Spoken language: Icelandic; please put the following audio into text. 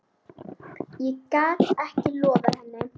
Ég gat ekki loftað henni.